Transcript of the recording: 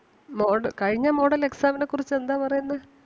mode കഴിഞ്ഞ model exam നെ കുറിച്ച് എന്താ പറയുന്നേ?